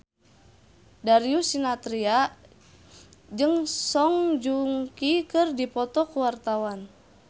Darius Sinathrya jeung Song Joong Ki keur dipoto ku wartawan